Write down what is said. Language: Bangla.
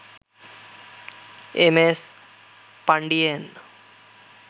M S Pandian